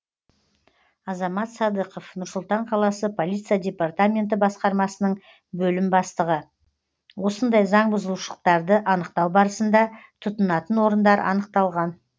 азамат садықов нұр сұлтан қаласы полиция департаменті басқармасының бөлім бастығы осындай заңбұзушылықтарды анықтау барысында тұтынатын орындар анықталған